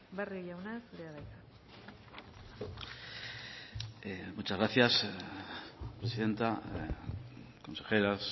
barrio jauna zurea da hitza muchas gracias presidenta consejeras